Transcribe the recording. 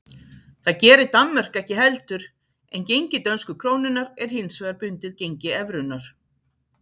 Það gerir Danmörk ekki heldur en gengi dönsku krónunnar er hins vegar bundið gengi evrunnar.